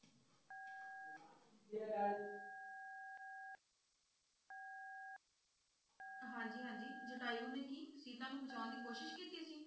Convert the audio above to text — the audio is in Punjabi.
ਹਾਂਜੀ-ਹੰਜੀ ਜਟਾਯੁ ਨੇ ਕਿ ਸੀਤਾ ਨੂੰ ਬਚਾਉਣ ਦਿ ਕੋਸ਼ਿਸ਼ ਕਿੱਤੀ ਸੀ?